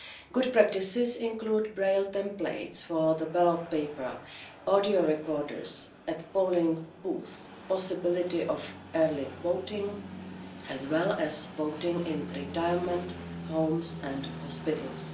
Good practices include Braille templates for the ballot paper, audio recorders at polling booths and the possibility of early voting, as well as voting in retirement homes and hospitals.